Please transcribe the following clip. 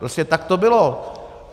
Prostě tak to bylo.